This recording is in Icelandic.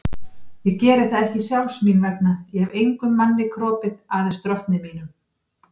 Ég geri það ekki sjálfs mín vegna, ég hef engum manni kropið, aðeins drottni mínum.